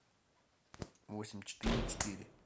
восемь четыре четыре